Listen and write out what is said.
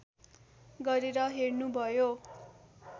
गरेर हेर्नु भयो